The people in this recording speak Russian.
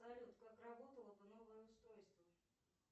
салют как работало бы новое устройство